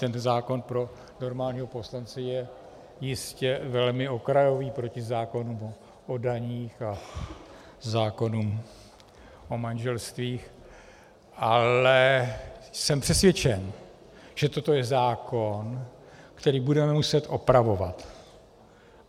Tento zákon pro normálního poslance je jistě velmi okrajový proti zákonům o daních a zákonům o manželstvích, ale jsem přesvědčen, že toto je zákon, který budeme muset opravovat.